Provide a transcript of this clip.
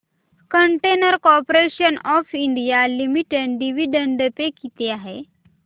container corporation of India limited dividend pay किती आहे